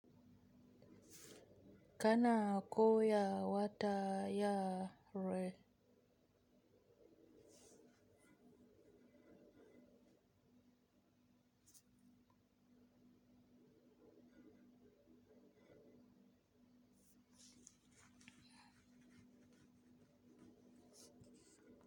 Kana ko ya wata ya re?